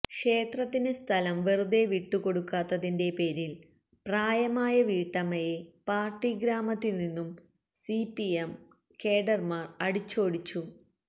ക്ഷേത്രത്തിന് സ്ഥലം വെറുതെ വിട്ടു കൊടുക്കാത്തതിന്റെ പേരിൽ പ്രായമായ വീട്ടമ്മയെ പാർട്ടി ഗ്രാമത്തിൽ നിന്നും സിപിഎം കേഡർമാർ അടിച്ചോടിച്ചു